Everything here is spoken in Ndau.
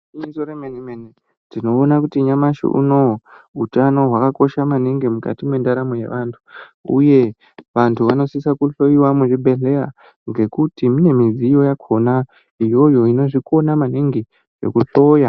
Igwinyiso remene mene tinoona kuti nyamashi unowu, utano hwakakosha maningi mukati mendaramo yevanthu, uye vanthu vanosise kuhloyiwa muzvibhedhlera ngekuti mune midziyo yakhona iyoyo inozvikona maningi zvekuhloya.